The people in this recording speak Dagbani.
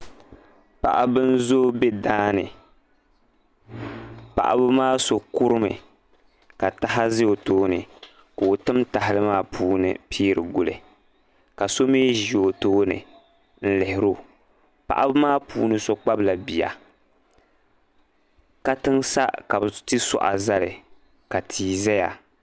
Paɣibi n zoo be daani paɣibi maa sɔ kurimi ka taha za otooni ka otim. tahali maa puuni n piiri guli ka sɔ mi zi o tooni n lihirɔ paɣibi maa puuni sɔ kpabila biya katiŋsa ka bi tisuɣa zali ka tii zaya